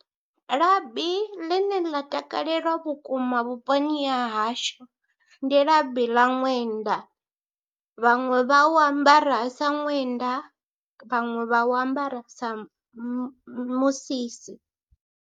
Labi ḽine ḽa takalelwa vhukuma vhuponi ha hashu, ndi labi ḽa ṅwenda, vhaṅwe vha u ambara sa ṅwenda, vhaṅwe vha u ambara sa mu musisi.